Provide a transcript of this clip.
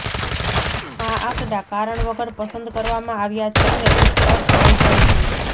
આ આંકડા કારણ વગર પસંદ કરવામાં આવ્યા છે અને ગુપ્ત અર્થ લઇ જાય છે